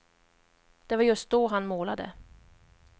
Det var just då han målade.